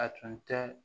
A tun tɛ